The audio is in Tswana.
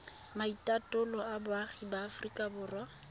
maitatolo a boagi ba aforika